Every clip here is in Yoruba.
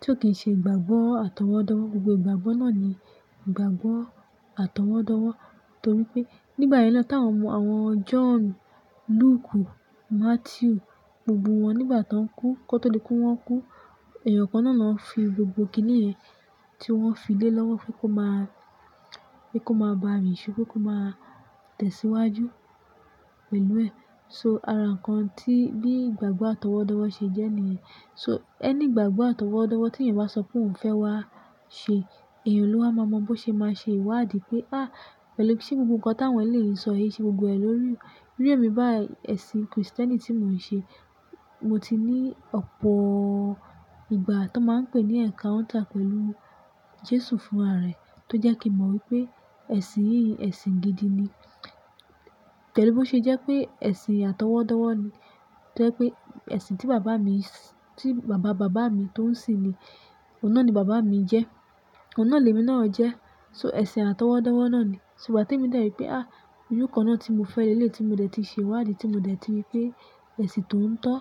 tí ó kì í ṣe ìgbàgbọ́ àtọwọ́dọ́wọ́. Gbogbo ìgbàgbọ́ náà ni ìgbàgbọ́ àtọwọ́dọ́wọ́. Torí pé nígbà yẹn lọ́pọ̀lọpọ̀ táwọn mọ àwọn John, Luke, Matthew, gbogbo wọn nígbà tó ń kú, kó tó lè kú, wọ́n kú, èèyàn kan náà la ń fi gbogbo kíní ẹ̀ tí wọ́n fi lé lọ́wọ́ fún kó máa, kí kó máa bá rìn ṣúkú kó máa tẹ̀síwájú pẹ̀lú ẹ̀. So ara nǹkan tí bí ìgbàgbọ́ àtọwọ́dọ́wọ́ ṣe jẹ́ ni ẹ̀. So ẹni ìgbàgbọ́ àtọwọ́dọ́wọ́ tí èèyàn bá sọ pé òun fẹ́ wá ṣe, ẹ̀yàn lọ́ wá máa mọ̀ bó ṣe máa ṣe ìwádìí pé, "Á, pẹ̀lú kí ṣe gbogbo nǹkan táwọn lè yín sọ, èyí ṣe gbogbo ẹ̀ lórí rí." Rí i èmi bá ẹ̀sìn Kristẹni tí mò ń ṣe, mo ti ní ọ̀pọ̀ ìgbà tó máa ń pè ní encounter pẹ̀lú Jésù fún ara ẹ̀ tó jẹ́ kí mo mọ̀ wípé ẹ̀sìn yìí ẹ̀sìn gidi ni. Pẹ̀lú bí ó ṣe jẹ́ pé ẹ̀sìn àtọwọ́dọ́wọ́ ni, tó jẹ́ pé ẹ̀sìn tí bàbá mi, tí bàbá bàbá mi tó ń sin ni, òhun náà ni bàbá mi jẹ́, òhun náà ni èmi náà jẹ́. So ẹ̀sìn àtọwọ́dọ́wọ́ náà ni. So ìgbà tí mo dẹ̀ rí pé, "Á, ojú kan náà tí mo fẹ́ lé lé tí mo dẹ̀ ti ṣe ìwádìí, tí mo dẹ̀ ti rí pé ẹ̀sìn tó ń tọ́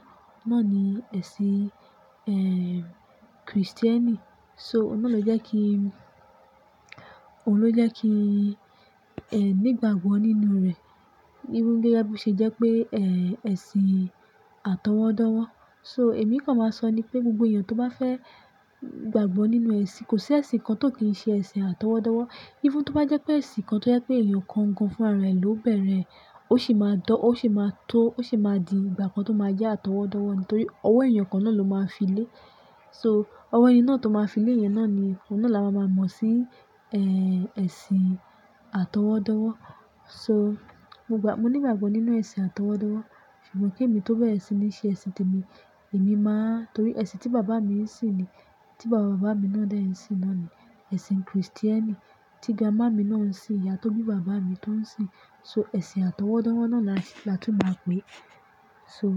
náà ni ẹ̀sìn, ẹ, Kristẹni." So òhun náà ló jẹ́ kí, òhun ló jẹ́ kí, ẹ, ní ìgbàgbọ́ nínú rẹ̀. Even gẹ́gẹ́ bí ó ṣe jẹ́ pé, ẹ, ẹ̀sìn àtọwọ́dọ́wọ́. So èmi kan máa sọ ni pé gbogbo èèyàn tó bá fẹ́ gbàgbọ́ nínú ẹ̀sìn, kò sí ẹ̀sìn kan tó kì í ṣe ẹ̀sìn àtọwọ́dọ́wọ́. Even tó bá jẹ́ pé ẹ̀sìn kan tó jẹ́ pé èèyàn kan nǹkan fún ara rẹ̀ ló bẹ̀rẹ̀ ẹ́, ó sì máa dọ́, ó sì máa tó, ó sì máa di ìgbà kan tó máa jẹ́ àtọwọ́dọ́wọ́ nítorí ọwọ́ èèyàn kan náà ló máa fi lé. So ọwọ́ ẹni náà tó máa fi lé ìyẹn náà ni, òun náà la máa mọ̀ sí, ẹ, ẹ̀sìn àtọwọ́dọ́wọ́. So mo gbà, mo ní ìgbàgbọ́ nínú ẹ̀sìn àtọwọ́dọ́wọ́. Ṣùgbọ́n kí èmi tó wẹ̀ ẹ̀sìn ní ṣe ẹ̀sìn tèmi, èmi máa-- torí ẹ̀sìn tí bàbá mi ń sin ni, tí bàbá bàbá mi náà dẹ̀ ń sin náà ni ẹ̀sìn Kristẹni tí grandma mi náà ń sin, ìyá tó bí bàbá mi tó ń sin. So ẹ̀sìn àtọwọ́dọ́wọ́ náà la ti, la tún máa pè. So.